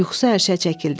Yuxusu hərşə çəkildi.